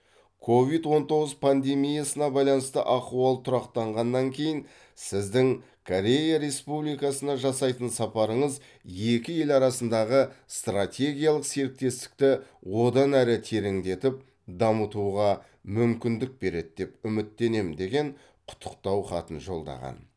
ковид он тоғыз пандемиясына байланысты ахуал тұрақтанғаннан кейін сіздің корея республикасына жасайтын сапарыңыз екі ел арасындағы стратегиялық серіктестікті одан әрі тереңдетіп дамытуға мүмкіндік береді деп үміттенемін деген құттықтау хатын жолдаған